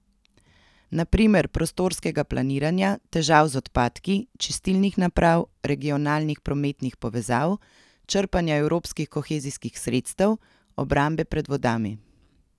Na primer prostorskega planiranja, težav z odpadki, čistilnih naprav, regionalnih prometnih povezav, črpanja evropskih kohezijskih sredstev, obrambe pred vodami.